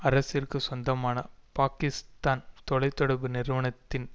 அரசிற்கு சொந்தமான பாக்கிஸ்தான் தொலை தொடர்பு நிறுவனத்தின்